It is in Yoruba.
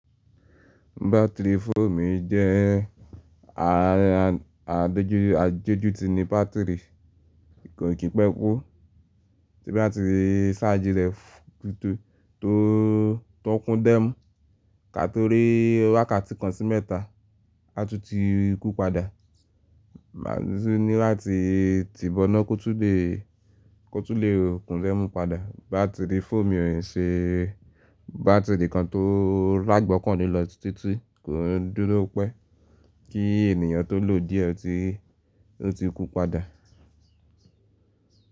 Battery fóònù mi jẹ́ ààa-- àdojù ti ní bátìrì, kò kì í pé kú. Tí n bátì sáàjì rẹ tó kún dẹ́mu, ká to rí wákàtí kan sí mẹ́ta, a tún ti kú padà. Ma sì ní láti ti bo'ná kó tún lè kó tún lè kún dẹ́mu padà. Bátìrì fóònu mi ò ṣe bátìrì kan tó l'ágbọ́kàn le lọ títí, kò n dúró pẹ́ kí ènìyàn tó lò díẹ̀ tí ó ti kú padà.